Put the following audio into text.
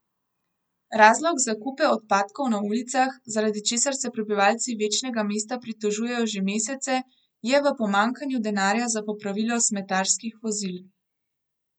Razlog za kupe odpadkov na ulicah, zaradi česar se prebivalci večnega mesta pritožujejo že mesece, je v pomanjkanju denarja za popravilo smetarskih vozil.